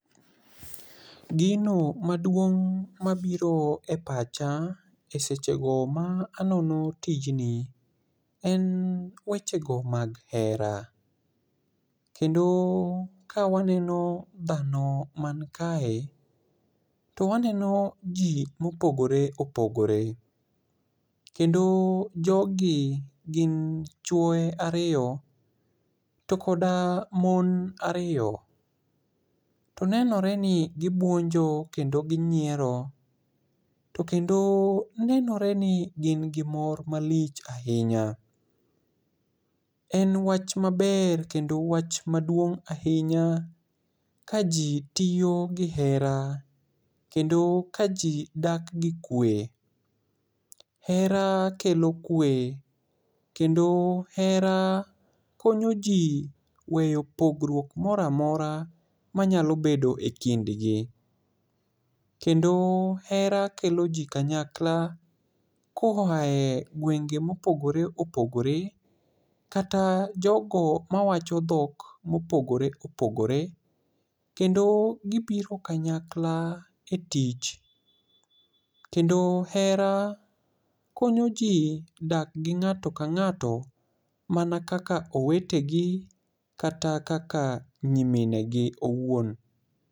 Gino maduong' ma biro e pacha e sechego ma anono tijni, en wechego mag hera. Kendo kawaneno dhano man kae, to waneno ji mopogore opogore. Kendo jogi gin chwoe ariyo, to koda mon ariyo. To nenore ni gibuonjo kendo ginyiero. To kendo nenore ni gin gi mor malich ahinya. En wach maber, kendo wach maduong' ahinya ka ji tiyo gi hera, kendo ka ji dak gi kwe. Hera kelo kwe, kendo hera konyo ji weyo pogruok moro amora manyalo bedo e kindgi. Kendo hera kelo ji kanyakla koae gwenge mopogore opogore. Kata jogo mawacho dhok mopogore opogore. Kendo gibiro kanyakla e tich. Kendo hera konyo ji dak gi ng'ato ka ng'ato mana kaka owetegi, kata kaka nyimine gi owuon.